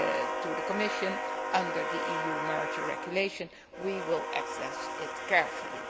to the Commission under the EU Merger Regulation, we will assess it carefully.